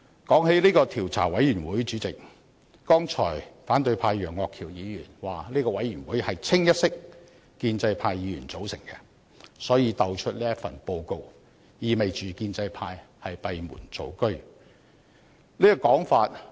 主席，提到調查委員會，剛才反對派楊岳橋議員斷言這個調查委員會清一色由建制派議員組成，意味這份報告是建制派閉門造車的結果。